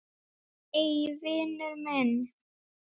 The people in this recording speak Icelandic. Nei, vinur minn!